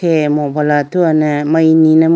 eya mobile athuwa ne amari nine mo.